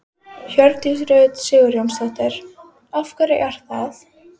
Hjördís Rut Sigurjónsdóttir: Af hverju er það?